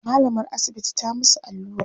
mallamar asibiti ta musu allura